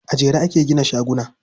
A jere ake gina shaguna.